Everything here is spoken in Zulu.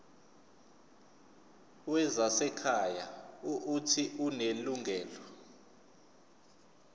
wezasekhaya uuthi unelungelo